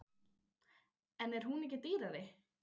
En er hún ekki dýrari?